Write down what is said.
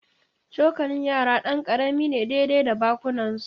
Cokalin yara ɗan karami ne daidai da bakunansu